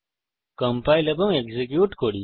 compile এবং execute করি